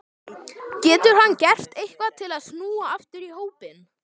Getur hann gert eitthvað til að snúa aftur í hópinn?